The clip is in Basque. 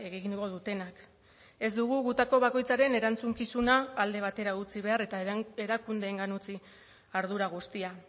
egingo dutenak ez dugu gutako bakoitzaren erantzukizuna alde batera utzi behar eta erakundeengan utzi ardura guztia